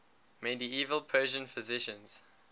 medieval persian physicians